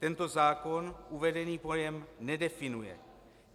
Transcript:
Tento zákon uvedený pojem nedefinuje.